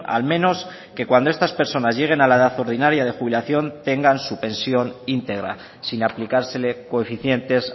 al menos que cuando estas personas lleguen a la edad ordinaria de jubilación tengan su pensión integra sin aplicársele coeficientes